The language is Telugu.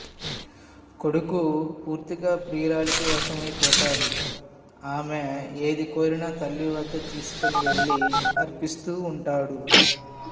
కొడుకు పూర్తిగా ప్రియురాలికివశమైపొతాడు ఆమె ఏది కోరినా తల్లివద్ద తీసుకొని వెళ్ళి అర్పిస్తూ ఉంటాడు